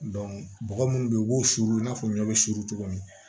bɔgɔ munnu be yen u b'o suru i na fɔ ɲɔ bɛ suru cogo min na